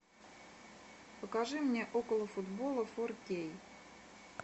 покажи мне околофутбола фор кей